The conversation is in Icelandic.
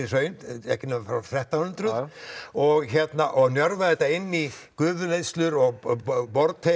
hraun ekki nema frá þrettán hundruð og og njörva þetta inn í gufuleiðslur og